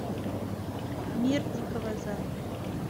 мир дикого запада